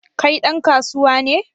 Kai dan kasuwa ne?